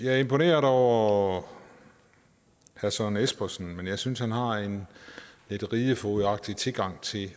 er imponeret over herre søren espersen men jeg synes han har en lidt ridefogedagtig tilgang til